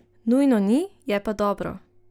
Nujno ni, je pa dobro.